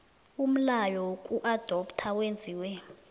umlayo wokuadoptha wenziwe